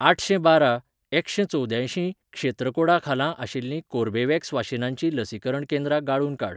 आठशेंबारा एकशेंचवद्यांयशीं क्षेत्र कोडा खाला आशिल्लीं कोर्बेवॅक्स वाशिनांचीं लसीकरण केंद्रा गाळून काड